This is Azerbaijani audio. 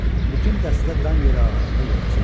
Bütün dəstə dan yeri ağaranda yola çıxdı.